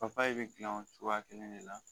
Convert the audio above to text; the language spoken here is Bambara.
papaye be gilan o cogoya kelen de la